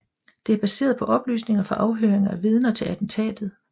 Det er baseret på oplysninger fra afhøringer af vidner til attentatet